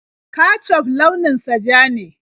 Kecuf launin sa ja ne.